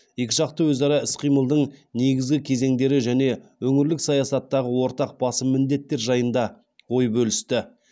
екіжақты өзара іс қимылдың негізгі кезеңдері және өңірлік саясаттағы ортақ басым міндеттер жайында ой бөлісті